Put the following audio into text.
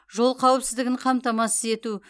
жол қауіпсіздігін қамтамасыз ету